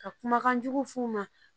Ka kumakan jugu f'u ma